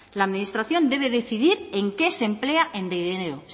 la administración debe decidir en qué se emplea el dinero